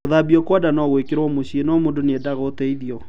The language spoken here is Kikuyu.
Gũthambio kwa nda no gwĩkĩrwo mũciĩ, no mũndũ nĩendaga ũteithio